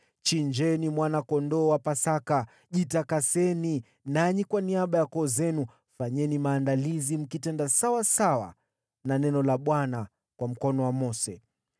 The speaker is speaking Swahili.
Chinjeni mwana-kondoo wa Pasaka, jitakaseni, nanyi kwa niaba ya koo zenu fanyeni maandalizi, mkitenda sawasawa na neno la Bwana kwa mkono wa Mose.”